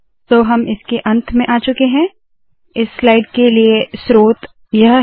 तो हम इसके अंत में आ चुके है इस स्लाइड के लिए यह स्रोत है